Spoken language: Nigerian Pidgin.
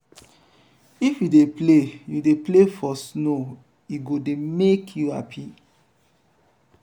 if you dey play you dey play for snow e go dey make you happy.